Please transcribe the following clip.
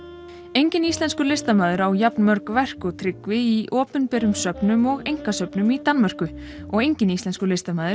enginn íslenskur listamaður á jafnmörg verk og Tryggvi í opinberum söfnum og einkasöfnum í Danmörku og enginn íslenskur listamaður